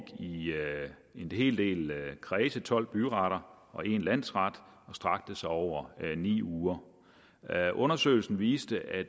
en hel del kredse tolv byretter og en landsret og strakte sig over ni uger undersøgelsen viste at